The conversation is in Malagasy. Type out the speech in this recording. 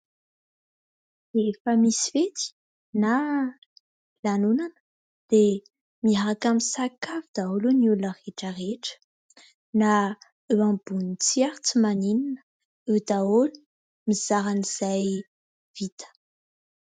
Rehefa misy fety na lanonana dia miaraka misakafo daholo ny olona rehetrarehetra, na eo ambony tsihy ary tsy maninona. Eo daholo mizara izay vita.